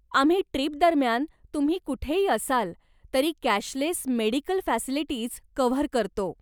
आम्ही ट्रीपदरम्यान तुम्ही कुठेही असाल तरी कॅशलेस मेडीकल फॅसिलिटीज कव्हर करतो.